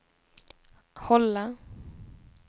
hålla